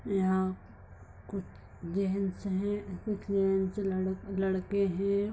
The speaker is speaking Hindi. यहाँ कुछ जेहन सेहेन लड़-लड़के है।